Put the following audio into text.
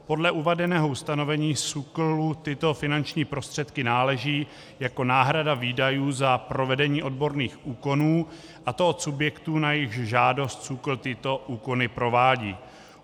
Podle uvedeného ustanovení SÚKLu tyto finanční prostředky náleží jako náhrada výdajů za provedení odborných úkonů, a to od subjektů, na jejichž žádost SÚKL tyto úkony provádí.